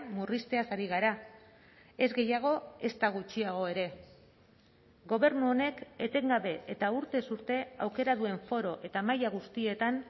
murrizteaz ari gara ez gehiago ezta gutxiago ere gobernu honek etengabe eta urtez urte aukera duen foro eta maila guztietan